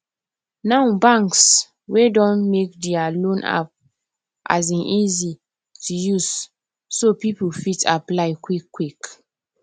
now banks um don make dia loan app um easy to use so people fit apply quickquick